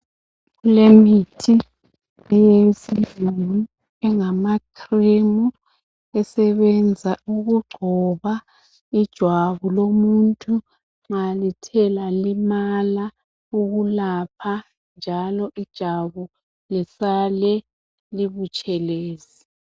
Lemithi eyesilungu engamacream esebenza ukugcoba ijwabu lomuntu nxa lithe lalimala ukulapha njalo ijabu lisale libutshelezi